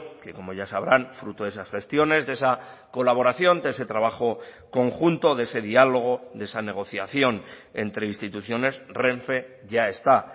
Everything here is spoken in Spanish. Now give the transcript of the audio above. que como ya sabrán fruto de esas gestiones de esa colaboración de ese trabajo conjunto de ese diálogo de esa negociación entre instituciones renfe ya está